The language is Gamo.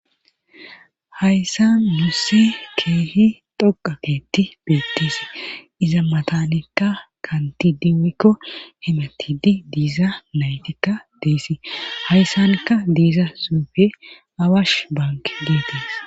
Hayssan nus keehi dhoqa ketti beettisi iza matanikka kanti dinikko hematidi diiza naytikka deessi hayssankka diiza xuufe awash bank getettida